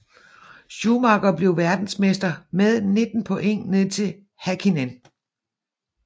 Schumacher blev verdensmester med 19 point ned til Häkkinen